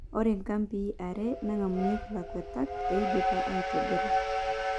Ore nkambii are nangamunyeki lakwetak eidipaki aitobira.